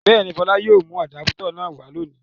Bẹ́ẹ̀ ni, Fọlá yóò mú àdápútọ̀ náà wá lónìí.